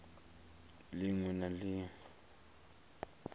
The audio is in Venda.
ḽ iṅwe na ḽ iṅwe